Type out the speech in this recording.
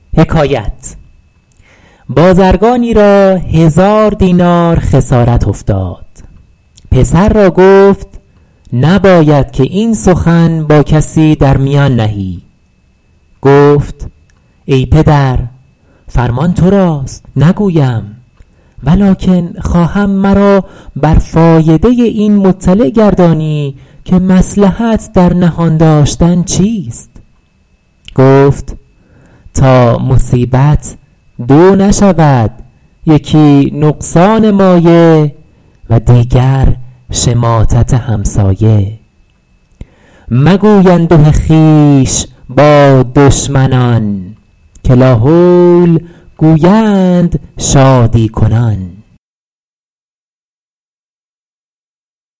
بازرگانی را هزار دینار خسارت افتاد پسر را گفت نباید که این سخن با کسی در میان نهی گفت ای پدر فرمان تو راست نگویم ولکن خواهم مرا بر فایده این مطلع گردانی که مصلحت در نهان داشتن چیست گفت تا مصیبت دو نشود یکی نقصان مایه و دیگر شماتت همسایه مگوی انده خویش با دشمنان که لاحول گویند شادی کنان